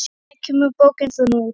Hvenær kemur bókin þín út?